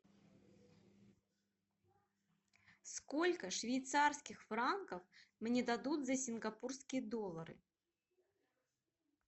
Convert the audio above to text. сколько швейцарских франков мне дадут за сингапурские доллары